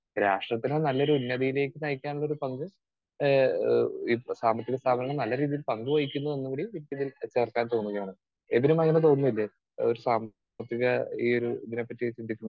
Speaker 2 രാഷ്ട്രത്തിന് നല്ലൊരു ഉന്നതിയിലേക്ക് നയിക്കാൻ ഉള്ളൊരു പങ്കും ഏഹ് ഇഹ് സാമ്പത്തിക സ്ഥാപനം നല്ല രീതിയിൽ പങ്കുവഹിക്കുന്നു എന്നുകൂടി എന്നു കൂടി ചേർക്കാൻ പോവുകയാണ്. എബിനും അങ്ങനെ തോന്നുന്നില്ലേ ഒരു സാമ്പത്തിക ഈ ഒരു ഇതിനെപ്പറ്റി ചിന്തിക്കു